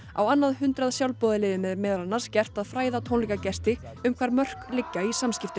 á annað hundrað sjálfboðaliðum er meðal annars gert að fræða tónleikagesti um hvar mörk liggja í samskiptum